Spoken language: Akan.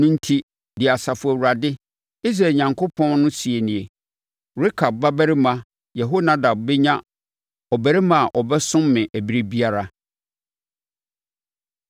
Ɛno enti, deɛ Asafo Awurade, Israel Onyankopɔn no seɛ nie: ‘Rekab babarima Yehonadab bɛnya ɔbarima a ɔbɛsom me ɛberɛ biara.’ ”